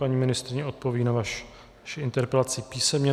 Paní ministryně odpoví na vaši interpelaci písemně.